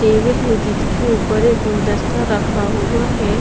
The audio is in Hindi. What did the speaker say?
टेबल है जिसके ऊपर एक गुलदस्ता रखा हुआ है।